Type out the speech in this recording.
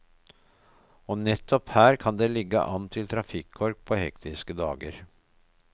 Og nettopp her kan det ligge an til trafikkork på hektiske dager.